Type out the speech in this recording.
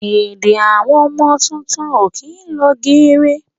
Èdè Àwọn ọmọ tuntun ó kín lọ geere